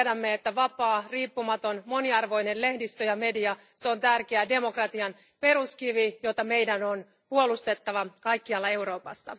Tiedämme, että vapaa, riippumaton, moniarvoinen lehdistö ja media ovat tärkeä demokratian peruskivi, jota meidän on puolustettava kaikkialla Euroopassa.